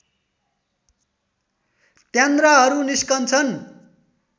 त्यान्द्राहरू निस्कन्छन्